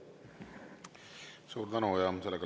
Suur tänu!